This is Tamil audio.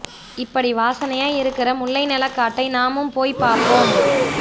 இப்படி வாசனையா இருக்கற முல்லை நெலக் காட்டை நாமும் போய்ப் பாப்போம்